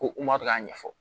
Ko kuma bɛ k'a ɲɛfɔ